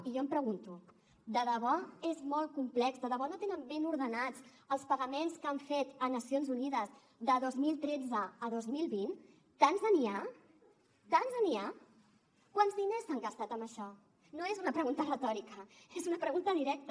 i jo em pregunto de debò és molt complex de debò no tenen ben ordenats els pagaments que han fet a nacions unides de dos mil tretze a dos mil vint tants n’hi ha tants n’hi ha quants diners s’han gastat en això no és una pregunta retòrica és una pregunta directa